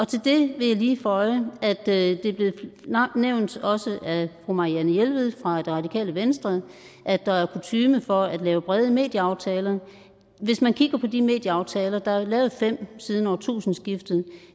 til det vil jeg lige føje at det er blevet nævnt også af fru marianne jelved fra det radikale venstre at der er kutyme for at lave brede medieaftaler hvis man kigger på de medieaftaler der er lavet fem siden årtusindskiftet